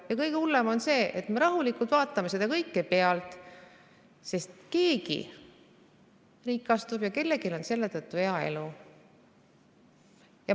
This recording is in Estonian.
Ja kõige hullem on see, et me vaatame seda kõike rahulikult pealt, sest keegi rikastub ja kellelgi on selle tõttu hea elu.